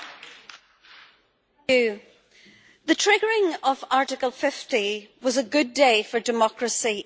Madam President, the triggering of Article 50 was a good day for democracy in the United Kingdom.